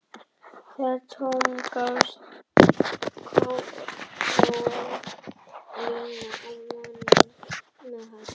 Þegar tóm gafst króaði Lína af manninn með hattinn sem hafði sagt við